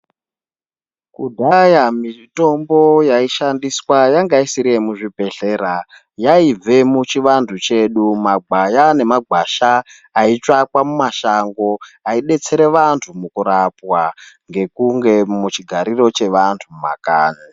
Kudhaya mitombo yaishandiswa yanga isiri muzvibhedhlera yaibva muchivantu chedu kumagwaya nemumagwasha aitsvakwa mumashango kudetsera vantu mukurapwa Ngekunge muchigariro chevantu mumakanyi.